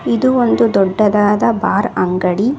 ಇದು ಒಂದು ದೊಡ್ಡದಾದ ಬಾರ್ ಅಂಗಡಿ.